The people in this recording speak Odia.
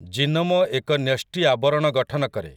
ଜିନୋମ ଏକ ନ୍ୟଷ୍ଟି ଆବରଣ ଗଠନ କରେ ।